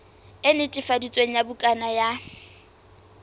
e netefaditsweng ya bukana ya